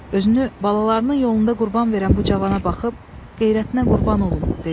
Özünü balalarının yolunda qurban verən bu cavana baxıb qeyrətinə qurban olum dedi.